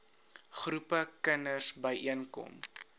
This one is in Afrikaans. groepe kinders byeenkom